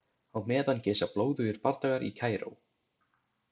Á meðan geisa blóðugir bardagar í Kaíró.